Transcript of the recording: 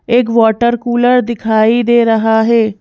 एक water cooler दिखाई दे रहा है।